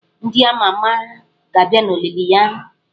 Ndị ama ama ga-abịa olili ya.